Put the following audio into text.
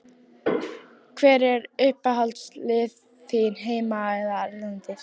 Hver eru uppáhaldslið þín heima og erlendis?